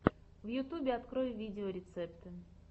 в ютюбе открой видеорецепты